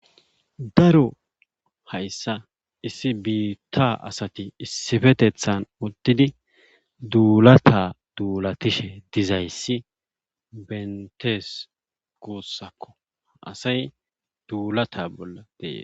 daro hayssa issi biitta asati ioddidi duulata duulatishe dizayssi bentees guussakko asay duulata bolla deee